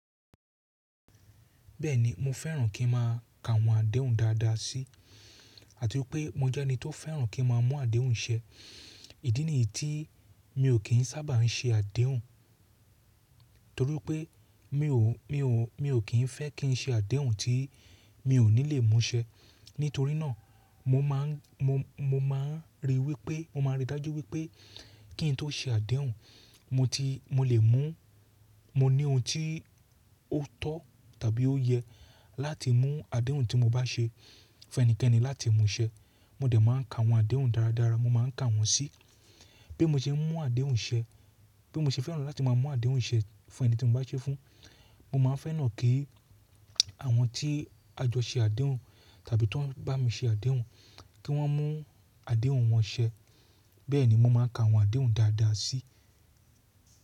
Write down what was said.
Bẹ́ẹ̀ni, mo fẹ́ràn kí n má a ka àwọn àdéhùn dáadáa sí àti wípé mo jẹ́ ẹni tó fẹ́ràn kí n má a mún àdéhùn ṣẹ. Ìdí nìyí tí mi ò kí ń sábà ń ṣe àdéhùn torí pé mi ò, mi ò, mi ò kí ń fẹ́ kí n ṣe àdéhùn tí mi ò ní lè mú ṣẹ. Nítorí náà mo má a ń, mo, mo má a ń rí wípé, mo máa rí dájú wípé kí ǹ tó ṣe àdéhùn, mo ti, mo lè mú, mo ní ohun tí ó tọ́ tàbí ó yẹ láti mú àdéhùn tí mo bá ṣe fún ẹnikẹ́ni láti mú ṣẹ. Mo dẹ̀ má a ka àwọn àdéhùn dáradára, mo má a ń ka wọ́n sí bi mo ṣe ń mú àdéhùn ṣẹ, bi mo ṣe fẹ́ràn láti má a mú àdéhùn ṣẹ fún ẹni tí mo bá ṣe é fún. Mo má a ń fẹ́ràn kí àwọn tí a jọ ṣe àdéhùn tàbí tó ń bá mi ṣe àdéhùn kí wọ́n mú àdéhùn wọn ṣẹ. Bẹ́ẹ̀ni mo má a ń ka àwọn àdéhùn dáadáa sí.